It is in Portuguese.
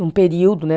Num período, né?